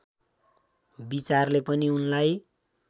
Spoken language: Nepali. विचारले पनि उनलाई